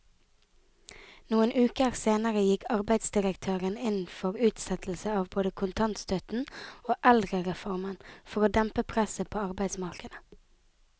Noen uker senere gikk arbeidsdirektøren inn for utsettelse av både kontantstøtten og eldrereformen for å dempe presset på arbeidsmarkedet.